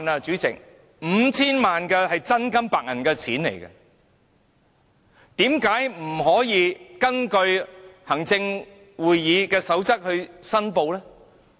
主席 ，5,000 萬元是真金白銀，為何特首不根據行政會議守則申報？